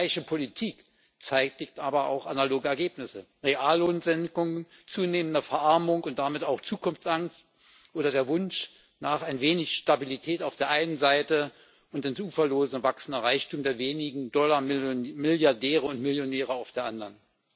Gleiche Politik zeitigt aber auch analoge Ergebnisse Reallohnsenkungen, zunehmende Verarmung und damit auch Zukunftsangst oder der Wunsch nach ein wenig Stabilität auf der einen Seite und ins Uferlose wachsender Reichtum der wenigen Dollarmilliardäre und millionäre auf der anderen.